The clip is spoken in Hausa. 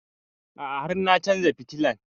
A'a har na chanza fitilan